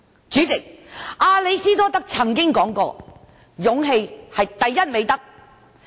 主席，亞里士多德曾說過，"勇氣是第一美德"。